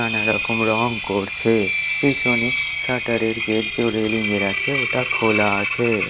নানারকম রং করছে পিছনে শাটার -এর গেট জো রেলিং -এর আছে ওটা খোলা আছে।